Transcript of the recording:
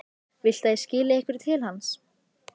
Viltu að ég skili einhverju til hans?